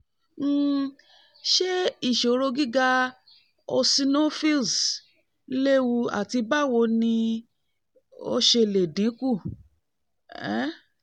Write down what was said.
um ṣe iṣiro giga ti eosinophils lewu ati bawo ni o ṣe le dinku? um